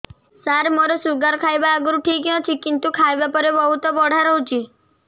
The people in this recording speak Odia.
ସାର ମୋର ଶୁଗାର ଖାଇବା ଆଗରୁ ଠିକ ଅଛି କିନ୍ତୁ ଖାଇବା ପରେ ବହୁତ ବଢ଼ା ରହୁଛି